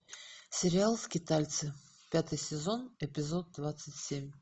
сериал скитальцы пятый сезон эпизод двадцать семь